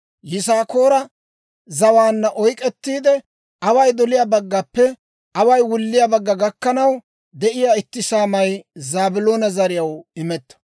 Yisaakoora zawaanna oyk'k'ettiide, away doliyaa baggappe away wulliyaa bagga gakkanaw de'iyaa itti saamay Zaabiloona zariyaw imetto.